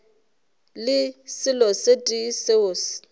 le selo se tee seo